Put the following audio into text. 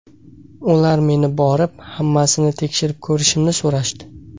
Ular meni borib, hammasini tekshirib ko‘rishimni so‘rashdi.